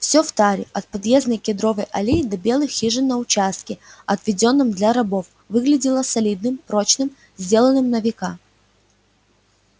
всё в таре от подъездной кедровой аллеи до белых хижин на участке отведённом для рабов выглядело солидным прочным сделанным на века